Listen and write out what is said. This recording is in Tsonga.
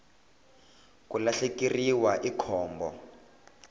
ku lahlekeriwa i khombo